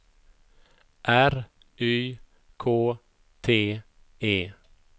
R Y K T E